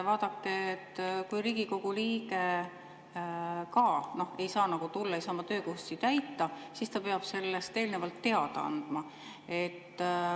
Vaadake, kui Riigikogu liige ei saa tulla, ei saa oma töökohustusi täita, siis ta peab sellest eelnevalt teada andma.